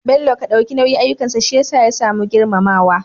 bello Ka dauki nauyin ayyukansa shiyasa ya samu girmamawa